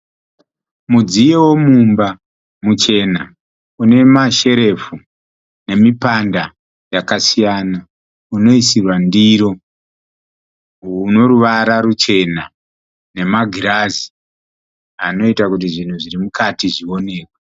Mudziyo wemumba muchena. Une ma sherefu nemipanda yakasiyana. Unoisirwa ndiro une ruvara ruchena nema girazi anoita kuti zvinhu zvirimukati zvioneke.